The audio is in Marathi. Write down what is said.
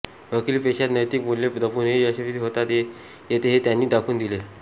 वकिली पेशात नैतिक मूल्ये जपूनही यशस्वी होता येते हे त्यांनी दाखवून दिले